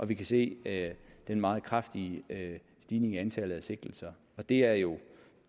vi kan se den meget kraftige stigning i antallet af sigtelser og det er jo